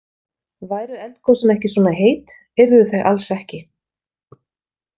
Væru eldgosin ekki svona heit, yrðu þau alls ekki.